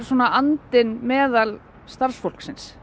andinn meðal starfsfólksins